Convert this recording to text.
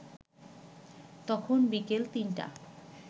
তখন বিকেল ৩টা।